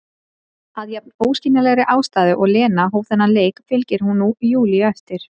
Af jafn óskiljanlegri ástæðu og Lena hóf þennan leik fylgir hún nú Júlíu eftir.